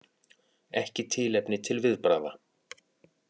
Ekki tilefni til viðbragða